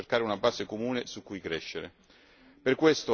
Per questo era importante rafforzare queste esperienze.